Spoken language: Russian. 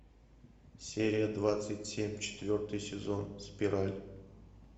серия двадцать семь четвертый сезон спираль